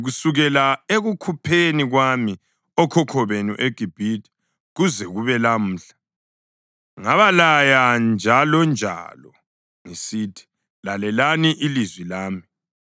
Kusukela ekukhupheni kwami okhokho benu eGibhithe kuze kube lamhla, ngabalaya njalonjalo ngisithi, “Lalelani ilizwi lami.”